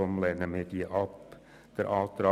Deshalb lehnen wir diese Planungserklärung ab.